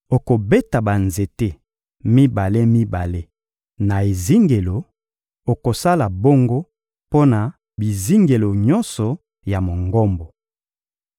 Okobeta banzete mibale-mibale na ezingelo; okosala bongo mpo na bizingelo nyonso ya Mongombo.